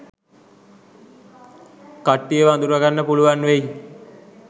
කට්ටියව අඳුර ගන්න පුලුවන් වෙයි.